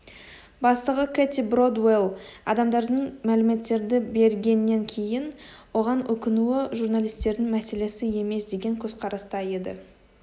бастығы кэти бродуэлл адамдардың мәліметтерді бергеннен кейін оған өкінуі журналистердің мәселесі емес деген көзқараста еді